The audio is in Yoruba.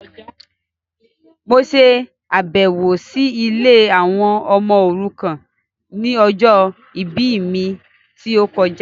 Mo ṣàbẹ̀wọ̀ si ilé àwọn ọmọ òrukàn ni ọjọ ìbí mi ti o kojá